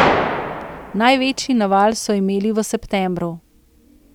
Največji naval so imeli v septembru.